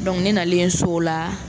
Donku ne nalen so o la